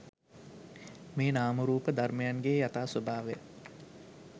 මේ නාම රූප ධර්මයන්ගේ යථා ස්වභාවය